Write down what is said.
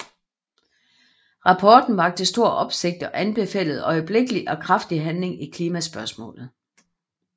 Rapporten vakte stor opsigt og anbefalede øjeblikkelig og kraftig handling i klimaspørgsmålet